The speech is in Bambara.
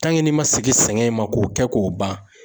n'i ma segin sɛngɛ in ma, k'o kɛ k'o ban